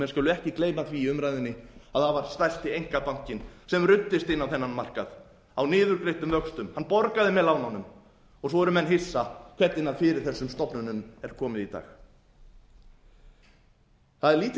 skulu ekki gleyma því í umræðunni að það var stærsti einkabankinn sem ruddist inn á þennan markað á niðurgreiddum vöxtum hann borgaði með lánunum svo eru menn hissa hvernig fyrir þessum stofnunum er komið í dag það er lítill